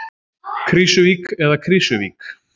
Krýsuvík eða Krísuvík?